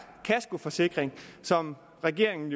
kaskoforsikring som regeringen